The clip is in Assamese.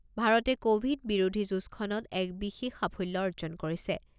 ভাৰতে ক'ভিড বিৰোধী যুঁজখনত এক বিশেষ সাফল্য অৰ্জন কৰিছে।